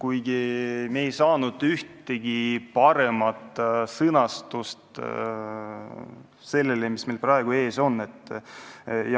Aga jah, me ei saanud ühtegi paremat sõnastust selle teksti asemele, mis meil praegu ees on.